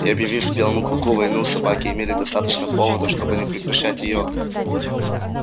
и объявив белому клыку войну собаки имели достаточно поводов чтобы не прекращать её